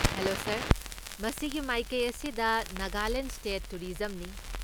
Hello sir! ꯃꯁꯤꯒꯤ ꯃꯥꯏꯀꯩ ꯑꯁꯤꯗ ꯅꯥꯒꯥꯂꯦꯟ ꯁ꯭ꯇꯦꯠ ꯇꯨꯔꯤꯖꯝꯅꯤ꯫